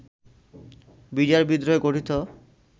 BDR বিদ্রোহে গঠিত